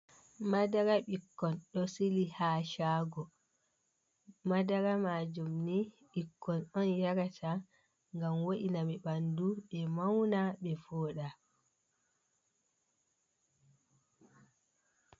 Madara ɓikkon ɗo sili ha shago madara majum ni ɓikkon on yarata ngam wo’ina ɓe ɓandu ɓe mauna ɓe voɗa.